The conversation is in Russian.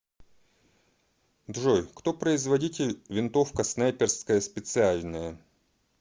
джой кто производитель винтовка снайперская специальная